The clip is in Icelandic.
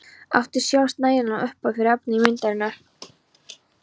Átti sjálf nægilega upphæð fyrir efni í myndirnar.